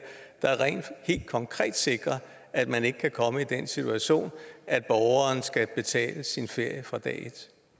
der helt konkret sikrer at man ikke kan komme i den situation at borgeren skal betale sin ferie fra dag